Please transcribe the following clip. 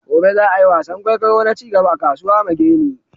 gobe za'a yi wasan kwaikwayo na cigaba a kasuwa mageni